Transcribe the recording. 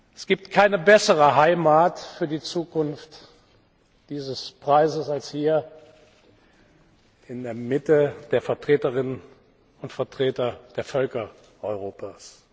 Es gibt keine bessere Heimat für die Zukunft dieses Preises als hier in der Mitte der Vertreterinnen und Vertreter der Völker Europas.